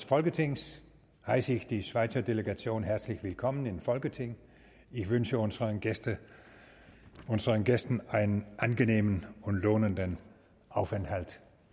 folketings heisse ich die schweizer delegation herzlich willkommen im folketing ich wünsche unseren gästen unseren gästen einen angenehmen und lohnenden aufenthalt